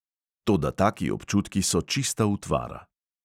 Toda taki občutki so čista utvara.